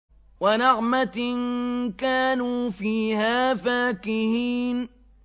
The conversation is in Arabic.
وَنَعْمَةٍ كَانُوا فِيهَا فَاكِهِينَ